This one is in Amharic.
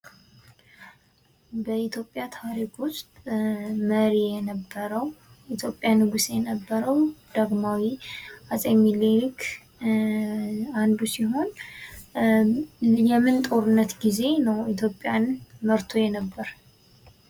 በኢትዮጵያ ታሪክ ውስጥ መሪ የነበረው፥ የኢትዮጵያ ንጉስ የነበረው ዳግማዊ አፄ ሚኒሊክ ሲሆን የምን ጦርነት ጊዜ ነው ኢትዮጵያን መርቶ የነበረው?